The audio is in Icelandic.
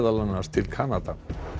annars til Kanada